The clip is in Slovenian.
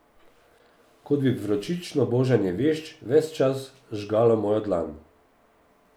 Kot bi vročično božanje vešč ves čas žgalo mojo dlan.